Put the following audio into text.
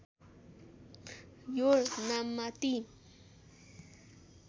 यो नाममा ती